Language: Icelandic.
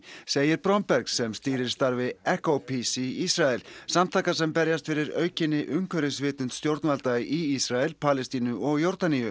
segir Bromberg sem stýrir starfi EcoPeace í Ísrael samtaka sem berjast fyrir aukinni umhverfisvitund stjórnvalda í Ísrael Palestínu og Jórdaníu